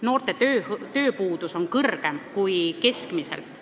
Noorte tööpuudus on suurem kui keskmiselt.